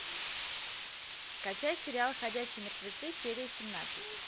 скачай сериал ходячие мертвецы серия семнадцать